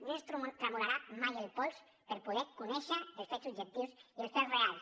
no ens tremolarà mai el pols per poder conèixer els fets objectius i el fets reals